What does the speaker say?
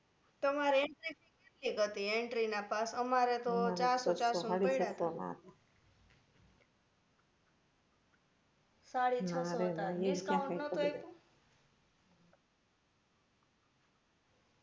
તમારે entry fee કેટલીક હતી entry ના pass અમારે તો ચારસો ચારસો મા પૈડા છે સાડી છસો હતા discount નતુ આપ્યુ